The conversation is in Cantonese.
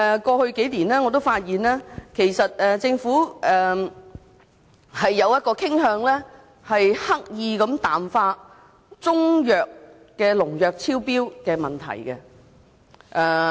過去數年，我發現政府傾向刻意淡化中藥的農藥超標問題。